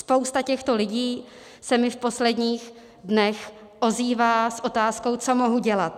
Spousta těchto lidí se mi v posledních dnech ozývá s otázkou: Co mohu dělat?